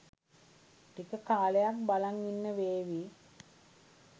ටික කාලයක් බලන් ඉන්න වේවි.